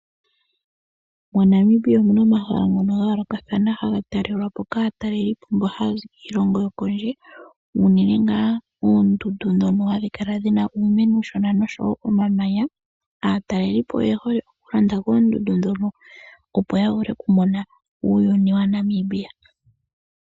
MoNamibia omuna omahala gayoolokathana ngoka haga taalelwapo kaatalelipo mbono haya zi kiilongo yokondje , unene ngaa oondundu ndhono hadhi kala dhina uumeno uushona noshowoo omamanya. Aatalelipo oye hole okulonda koondundu ndhono opo yavule okumona oshilongo shNamibia.